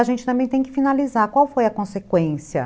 A gente também tem que finalizar, qual foi a consequência?